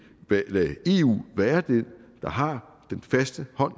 lade eu være den der har den faste hånd